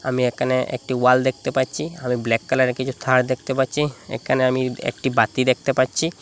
আমি একানে একটি ওয়াল দেখতে পাচ্ছি আমি ব্ল্যাক কালারের কিছু থার দেখতে পাচ্ছি একানে আমি একটি বাতি দেখতে পাচ্ছি।